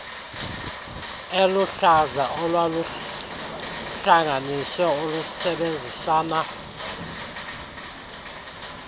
eliluhlaza olwaluhlanganisiwe olusebenzisana